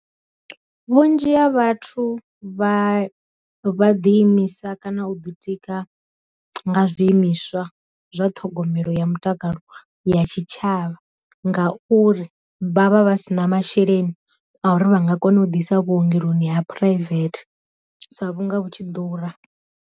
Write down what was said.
Vhunzhi ha vhathu vha vha ḓi imisa kana u ḓitika nga zwiimiswa zwa ṱhogomelo ya mutakalo ya tshi tshavha, ngauri vha vha vha si na masheleni a uri vha nga kona u ḓisa vhuongeloni ha private sa vhunga vhu tshi ḓura.